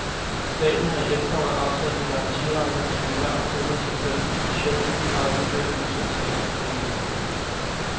Staten har i efteråret afsat en garantiramme på en milliard kroner til femten specielt udpegede udviklingsselskaber. punktum